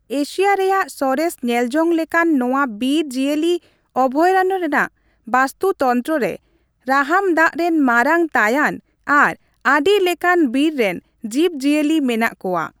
Asia ᱨᱮᱭᱟᱜ ᱥᱚᱨᱮᱥ ᱧᱮᱞᱡᱚᱝ ᱞᱮᱠᱟᱱ ᱱᱚᱣᱟ ᱵᱤᱨ ᱡᱤᱭᱟᱹᱞᱤ ᱚᱵᱷᱚᱭᱟᱨᱚᱱᱱᱚ ᱨᱮᱭᱟᱜ ᱵᱟᱥᱛᱩᱛᱚᱱᱛᱨᱚ ᱨᱮ ᱨᱟᱦᱟᱢ ᱫᱟᱜᱽ ᱨᱮᱱ ᱢᱟᱨᱟᱝ ᱛᱟᱭᱟᱱ ᱟᱨ ᱟᱹᱰᱤ ᱞᱮᱠᱟᱱ ᱵᱤᱨ ᱨᱮᱱ ᱡᱤᱵᱽᱼᱡᱤᱭᱟᱹᱞᱤ ᱢᱮᱱᱟᱜ ᱠᱚᱣᱟ ᱾